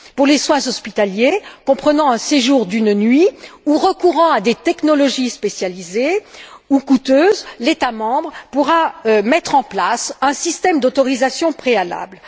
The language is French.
Pour les soins hospitaliers comprenant un séjour d'une nuit, ou recourant à des technologies spécialisées ou coûteuses, l'État membre pourra mettre en place un système d'autorisation préalable.